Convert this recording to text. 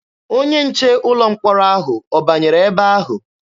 Onye nche ụlọ mkpọrọ ahụ ọ banyere ebe ahụ?